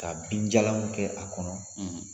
Ka binjalan kɛ a kɔnɔ